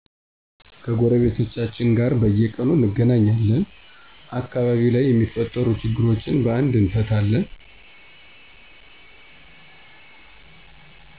ከጎረቤቶቻችን ጋር በየቁኑ እንገናኛልን አከባቢው ላይ የሚፈጠሩ ችግሮችን በአንድ እንፈታለን